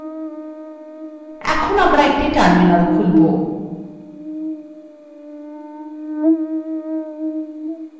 এখন আমরা একটি terminal খুলবো